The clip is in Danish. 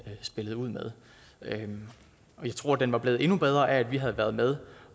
spillede ud med og jeg tror den var blevet endnu bedre af at vi havde været med